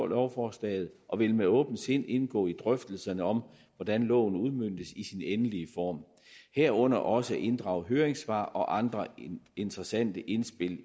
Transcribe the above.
lovforslaget og vil med åbent sind indgå i drøftelserne om hvordan loven udmøntes i sin endelige form herunder også inddrage høringssvar og andre interessante indspil